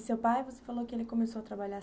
E seu pai, você falou que ele começou a trabalhar